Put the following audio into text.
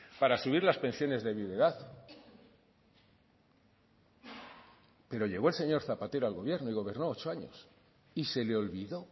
para subir las pensiones de viudedad pero llegó el señor zapatero al gobierno y gobernó ocho años y se le olvidó